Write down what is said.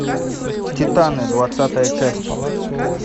титаны двадцатая часть